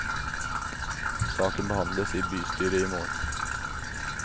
Saken behandles i bystyret i morgen.